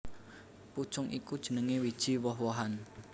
Pucung iku jenengé wiji woh wohan